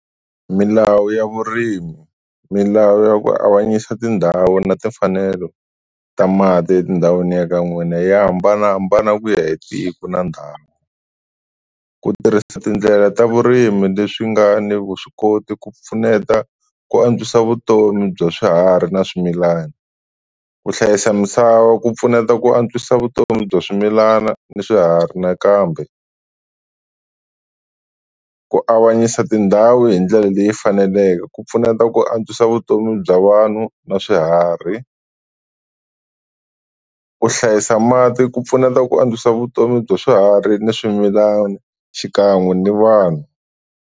Milawu ya vurimi, milawu ya ku avanyisa tindhawu na timfanelo ta mati endhawini ya ka n'wina ya hambanahambana ku ya hi tiko na ndhawu. Ku tirhisa tindlela ta vurimi leswi nga ni vuswikoti, ku pfuneta ku antswisa vutomi bya swiharhi na swimilana. Ku hlayisa misava ku pfuneta ku antswisa vutomi bya swimilana na swiharhi, nakambe ku avanyisa tindhawu hi ndlela leyi faneleke ku pfuneta ku antswisa vutomi bya vanhu na swiharhi. Ku hlayisa mati ku pfuneta ku antswisa vutomi bya swiharhi ni swimilana xikan'we ni vanhu.